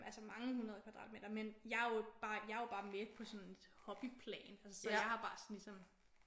Altså mange hundrede kvadratmeter men jeg er jo bare jeg er jo bare med på sådan et hobbyplan så jeg har bare ligesom